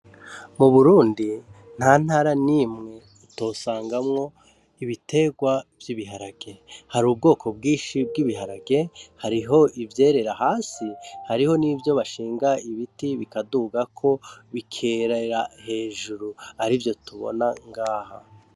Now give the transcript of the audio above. Mu Burundi nta ntara n'imwe utosangamwo ibiterya vy'ibihage hari ubwoko bwishi bw'ibiharage hariko ivyera hasi hariho n'ivyo bashinga ibiti bikaduga ko bikerera hejuru arivyo tubona ngaha.